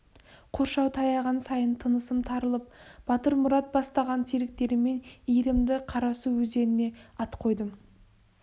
қоршау таяған сайын тынысым тарылып батырмұрат бастаған серіктеріммен иірімді қарасу өзеніне ат қойдым